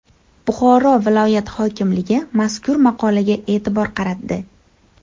Buxoro viloyat hokimligi mazkur maqolaga e’tibor qaratdi.